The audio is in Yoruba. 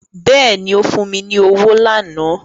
Bẹ́ẹ̀ni ó fún mi ní owó lánàá